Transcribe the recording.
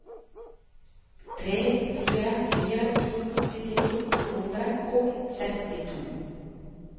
tre fire fire to syttini to hundre og sekstito